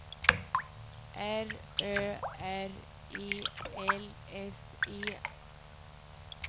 R Ö R E L S E